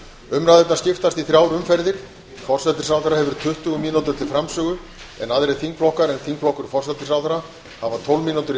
umræðurnar skiptast í þrjár umferðir forsætisráðherra hefur tuttugu mínútur til framsögu en aðrir þingflokkar en þingflokkur forsætisráðherra hafa tólf mínútur í